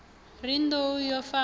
ri nḓou yo fa ho